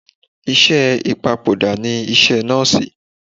Iṣẹ́ ìpapòdà ni iṣẹ́ nọ́ọ̀sì.